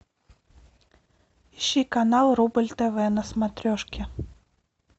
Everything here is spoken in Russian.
ищи канал рубль тв на смотрешке